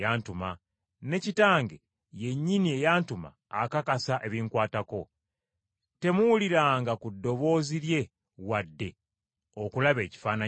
ne Kitange yennyini eyantuma akakasa ebinkwatako. Temuwuliranga ku ddoboozi lye wadde okulaba ekifaananyi kye.